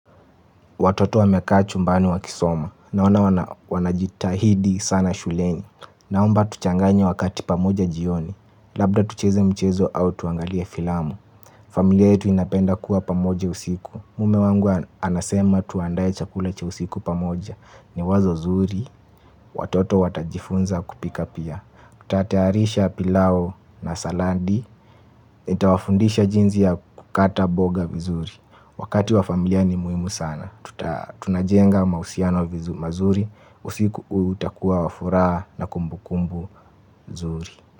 Watoto wamekaa chumbani wa kisoma. Naona wanajitahidi sana shuleni. Naomba tuchanganye wakati pamoja jioni. Labda tucheze mchezo au tuangalie filamu. Familia yetu inapenda kuwa pamoja usiku. Mume wangu anasema tuandae chakula cha usiku pamoja. Ni wazo zuri. Watoto watajifunza kupika pia. Kutatayarisha pilau na saladi. Nitawafundisha jinzi ya kukata boga vizuri. Wakati wa familia ni muhimu sana. Tunajenga mahusiano mazuri. Usiku utakuwa wafura na kumbu kumbu zuri.